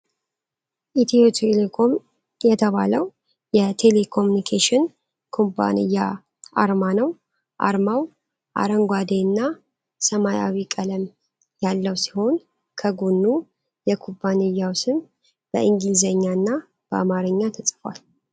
ኢትዮ ቴሌኮም የተባለው የቴሌኮሙኒኬሽን ኩባንያ አርማ ነው። አርማው አረንጓዴ እና ሰማያዊ ቀለም ያለው ሲሆን፣ ከጎኑ የኩባንያው ስም በእንግሊዝኛና በአማርኛ ተጽፏል፡፡